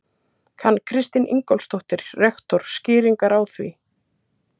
Kann Kristín Ingólfsdóttir, rektor, skýringar á því?